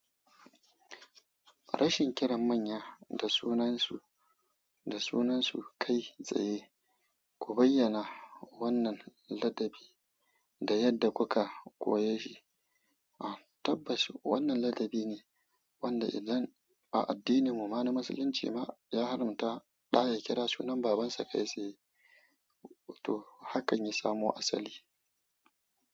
Rashin kiran manya da sunansu, da sunansu kai tsaye, ku bayyana wannan ladabi da yadda kuka koye shi. Ah tabbaci wannan ladabi ne wanda idan a addininmu, ma musulunci ma, ya haramta ɗa ya kira sunan babansa kai tsaye, to hakan ya samo asali.